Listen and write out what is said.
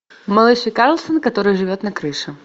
малыш и карлсон который живет на крыше